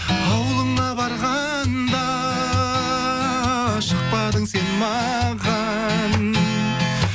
ауылыңа барғанда шықпадың сен маған